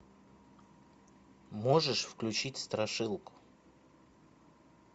можешь включить страшилку